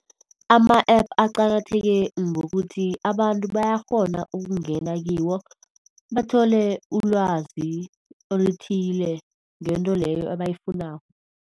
Ama-App aqakatheke ngokuthi abantu bayakghona ukungena kiwo bathole ulwazi elithile ngento leyo ebayifunako.